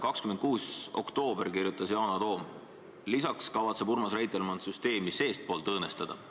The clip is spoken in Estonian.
26. oktoobril kirjutas Yana Toom: "Lisaks kavatseb Urmas Reitelmann süsteemi seestpoolt õõnestada.